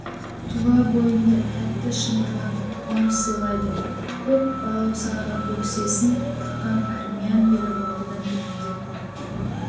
тұлабойыңды тәтті шымырлатып қуаныш сыйлайды көк балаусаға бөксесін тыққан армян белі ортадан төмендеп қалыпты